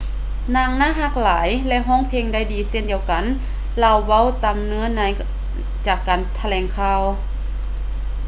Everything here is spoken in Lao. ນາງໜ້າຮັກຫຼາຍ ແລະ ຮ້ອງເພງໄດ້ດີເຊັ່ນດຽວກັນ ລາວເວົ້າຕາມເນື້ອໃນຈາກການຖະແຫຼງຂ່າວ